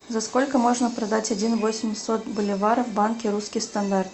за сколько можно продать один восемьсот боливаров в банке русский стандарт